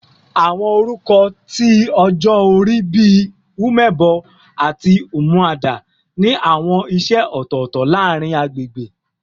Awọn orukọ ti ọjọ ori bi "Omebo" ati "Umuada" ni awọn iṣẹ ọtọtọ laarin agbegbe